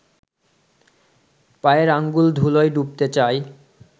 পায়ের আঙুল ধুলোয় ডুবতে চায়